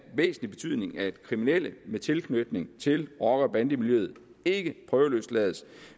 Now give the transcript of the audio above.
væsentlig betydning at kriminelle med tilknytning til rocker bande miljøet ikke prøveløslades